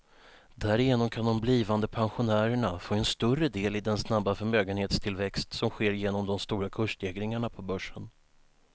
Därigenom kan de blivande pensionärerna få en större del i den snabba förmögenhetstillväxt som sker genom de stora kursstegringarna på börsen.